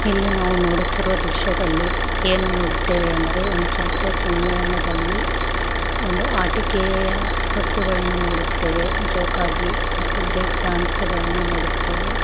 ಇಲ್ಲಿ ನಾವು ನೋಡುತಿರು ದೃಶ್ಯ ದಲ್ಲಿ ಏನು ನೋಡುತ್ತೆವೆ ಅಂದರೆ ಒಂದು ಜಾತ್ರೆಯಾ ಸಮ್ಮೇಳನದಲ್ಲಿ ಒಂದು ಆಟಿಕೆ ವಸ್ತುಗಳ್ಳನ ನೋಡುತ್ತೆವೆ ಜೋಕಾಲಿ ಮತ್ತು ಬ್ರೇಕ್ ಡ್ಯಾನ್ಸಗಲ್ಲ ನು ನೋಡುತ್ತೆವೆ.